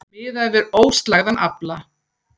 Miðað er við óslægðan afla